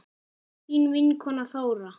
Þín vinkona Þóra.